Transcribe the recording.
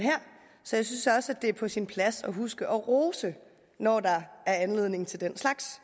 så jeg synes også at det er på sin plads at huske at rose når der er anledning til den slags